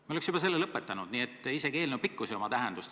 Me oleks juba selle lõpetanud, nii et isegi eelnõu pikkusel ei ole tähendust.